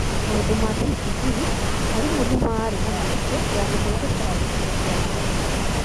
Maũndũ ma TPD: Arimũ nĩ maarĩ na mĩeke ya gũthondeka indo cia ũkinyanĩria.